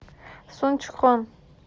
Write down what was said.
сунчхон